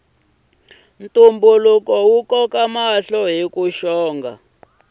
ntumbuluko wu koka mahlo hiku saseka